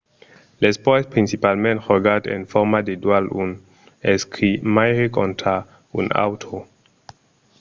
l'espòrt es principalament jogat en format de dual un escrimaire contra un autre